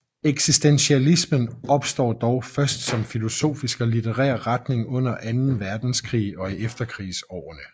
Eksistentialismen opstår dog først som filosofisk og litterær retning under Anden Verdenskrig og i efterkrigsårene